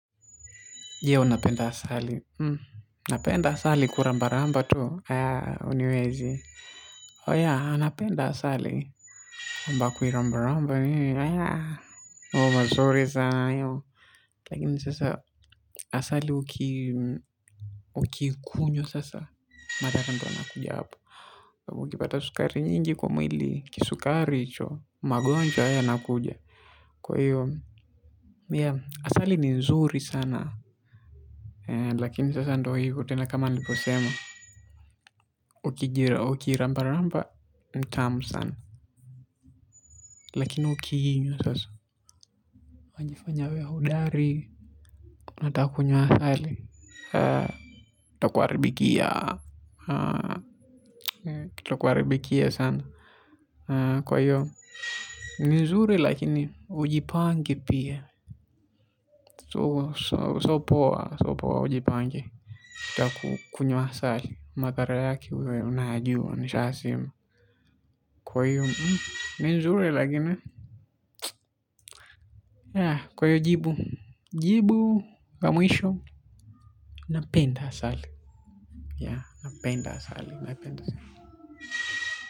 Je, unapenda asali. Napenda asali kulambalamba tu. Haa, huniwezi. Oh yea, napenda asali. Kwamba kuilambalamba nini. Mambo mazuri sana hayo lakini sasa, asali ukii kunywa sasa. Madhara ndo yanakuja hapo. Ukipata sukari nyingi kwa mwili, kisukari hicho, magonjwa hayo yanakuja. Kwa hiyo, asali ni nzuri sana. Lakini sasa ndo hivo tena kama niliposema ukiilambalamba ni tamu sana lakini sasa unajifanya wewe hodari unataka kunywa asali itakuharibikia itakuharibikia sana kwa hiyo ni nzuri lakini ujipange pia sio poa ujipange ukitaka kunywa asali madhara yake unayajua nishayasema. Kwahiyo, ni nzuri lakini. Kwahiyo, jibu. Jibu, la mwisho. Napenda asali. Napenda asali, naipenda sana.